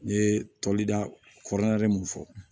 N ye tobilida kɔrɔ nalen mun fɔ